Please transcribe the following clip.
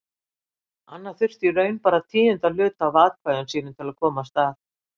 Anna þurfti í raun bara tíunda hluta af atkvæðum sínum til að komast að.